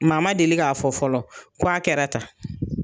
M'a ma deli k'a fɔ fɔlɔ ko a kɛra tan!